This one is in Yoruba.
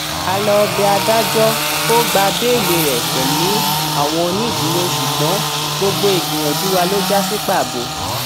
a lọọ bẹ adájọ kó gba bẹẹlí rẹ pẹlú àwọn onídùúró ṣùgbọn gbogbo ìgbìyànjú wa ló já sí pàbó